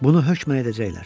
Bunu hökmən edəcəklər.